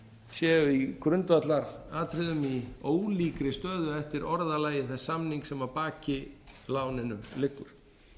sé í grundvallaratriðum í ólíkri stöðu eftir orðalagi þess samnings sem að baki láninu liggur